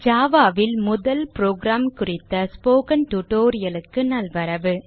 java ல் முதல் program குறித்த ஸ்போக்கன் tutorial க்கு நல்வரவு